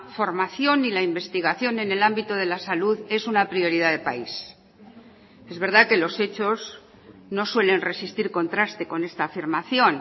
formación y la investigación en el ámbito de la salud es una prioridad de país es verdad que los hechos no suelen resistir contraste con esta afirmación